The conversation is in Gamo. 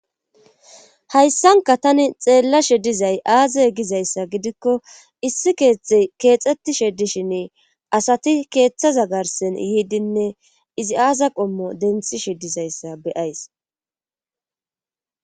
hayssanka tani xeella she dizay aaza gizayssa gidikko issi keexxetti sheddishin asati keeththaza garsen yiidinne izi aaza qommo denthishe dizayssa beyays